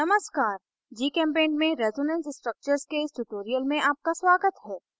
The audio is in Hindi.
नमस्कार gchempaint में resonance structures के इस tutorial में आपका स्वागत है